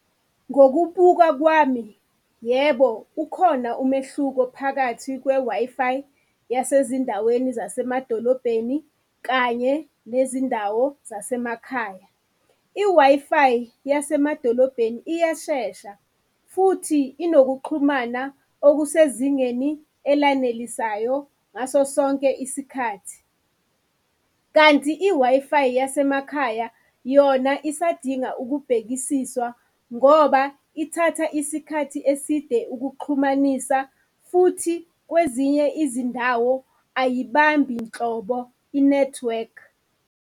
Ngokubuka kwami, yebo ukhona umehluko phakathi kwe-Wi-Fi yasezindaweni zasemadolobheni kanye nezindawo zasemakhaya. I-Wi-Fi yasemadolobheni iyashesha futhi inokuxhumana okusezingeni elanelisayo ngaso sonke isikhathi, kanti i-Wi-Fi yasemakhaya yona isadinga ukubhekisiswa ngoba ithatha isikhathi eside ukuxhumanisa futhi kwezinye izindawo ayibambi nhlobo i-network.